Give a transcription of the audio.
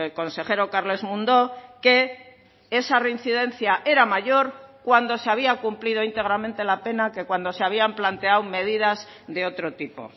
consejero carles mundó que esa reincidencia era mayor cuando se había cumplido íntegramente la pena que cuando se habían planteado medidas de otro tipo